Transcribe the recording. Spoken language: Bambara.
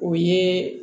O ye